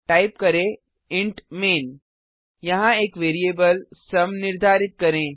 type करें int main यहाँ एक वैरिएबल सुम निर्धारित करें